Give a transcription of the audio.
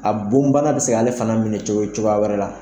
A bon banna bi se k'ale fana minɛ cogo cogoya wɛrɛ la